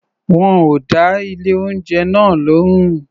Wọn ò dá ilé-oúnjẹ náà lóhùn.